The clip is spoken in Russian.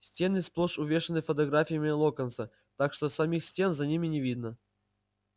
стены сплошь увешаны фотографиями локонса так что самих стен за ними не видно